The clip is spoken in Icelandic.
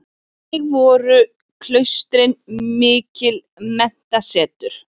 Einnig voru klaustrin mikil menntasetur.